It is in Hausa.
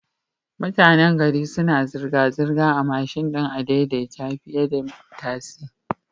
Mutanan gari suna zirga zirgar a mashin din adai-dai-ta fiyeda tasi